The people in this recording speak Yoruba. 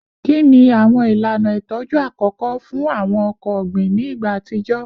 Kini awọn ilana itọju akọkọ fun awọn ọkọ ogbin ni igba atijọ?